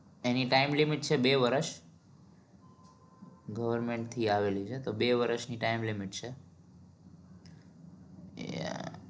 એની time limit છે બે વર્ષ government થી આવેલી છે તો બે વર્ષની time limit છે એ